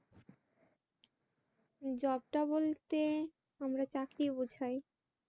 job টা বলতে আমরা চাকরি বুঝাই।